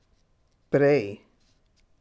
Prej.